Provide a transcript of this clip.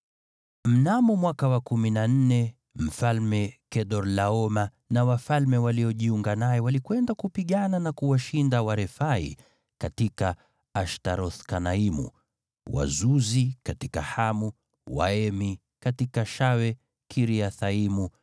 Mnamo mwaka wa kumi na nne, Mfalme Kedorlaoma na wafalme waliojiunga naye walikwenda kupigana na kuwashinda Warefai katika Ashtaroth-Kanaimu, Wazuzi katika Hamu, Waemi katika Shawe-Kiriathaimu,